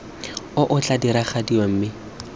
o o tla diragadiwa mme